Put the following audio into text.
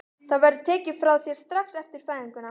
Það verður tekið frá þér strax eftir fæðinguna.